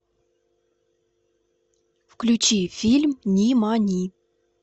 включи фильм нимани